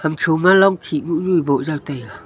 hamtho ma longkhih moh nu boh jaw taiga.